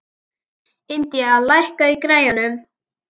Indía, lækkaðu í græjunum.